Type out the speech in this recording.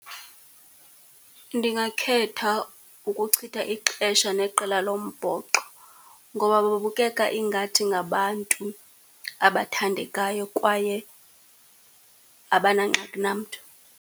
Ndingakhetha ukuchitha ixesha neqela lombhoxo, ngoba babukeka ingathi ngabantu abathandekayo kwaye abanangxaki namntu.